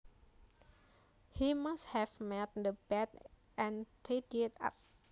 He must have made the bed and tidied up